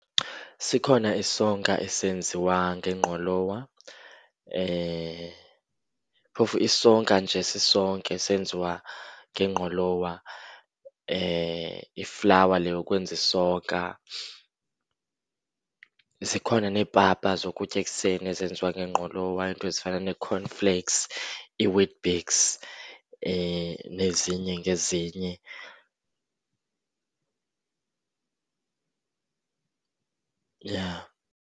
Sikhona isonka esenziwa nengqolowa. Phofu isonka nje sisonke senziwa nengqolowa, iflawa le yokwenza isonka. Zikhona neepapa zokutya ekuseni ezenziwa ngengqolowa, iinto ezifana nee-cornflakes, ii-Weet-Bix nezinye ngezinye. Yha.